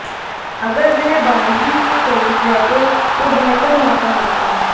अगर वह बाउंड्री के करीब रहते तो बेहतर मौका होता